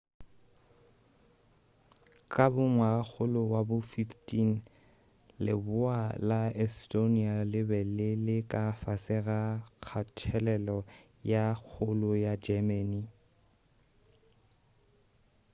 ka bo ngwagakgolo wa bo 15 leboa la estonia le be le le ka fase ga kgathelelo ye kgolo ya germany